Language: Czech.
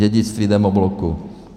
Dědictví demobloku.